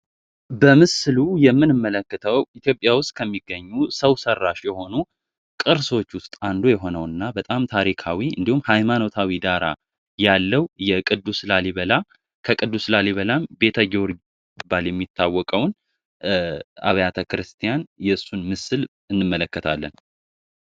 በምስሉምን ምልክተው ኢትዮጵያ ውስጥ ከሚገኙ ሰው ሰራሽ የሆኑ ቅርሶች ውስጥ አንዱ የሆነው እና በጣም ታሪካዊ እንዲሁም ሀይማኖታዊ ጋራ ያለው የቅዱስ ላሊበላ ከቅዱስ ላሊበላ ቤተ ጊዮርጊስ ባል የሚታወቀውን አብያተ ክርስቲያን የሱን ምስል እንመለከታለን።